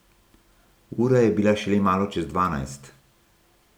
Ura je bila šele malo čez dvanajst.